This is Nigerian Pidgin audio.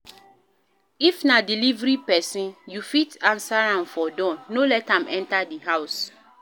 If na delivery person, you fit answer am for door, no let am enter di house